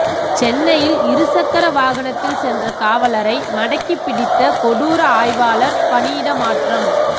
சென்னையில் இருசக்கர வாகனத்தில் சென்ற காவலரை மடக்கிப்பிடித்த கொடூர ஆய்வாளர் பணியிடமாற்றம்